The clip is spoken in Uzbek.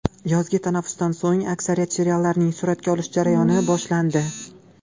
Yozgi tanaffusdan so‘ng aksariyat seriallarning suratga olish jarayoni boshlandi .